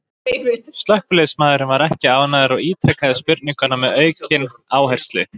Slökkviliðsmaðurinn var ekki ánægður og ítrekaði spurninguna með aukinn áherslu.